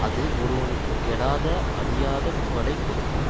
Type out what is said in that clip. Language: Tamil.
அது ஒருவனுக்கு கெடாத அழியாத புகழை கொடுக்கும்